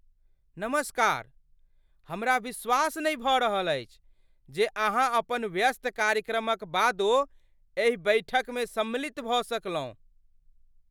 नमस्कार! हमरा विश्वास नहि भऽ रहल अछि जे अहाँ अपन व्यस्त कार्यक्रमक बादो एहि बैठकमे सम्मिलित भऽ सकलहुँ।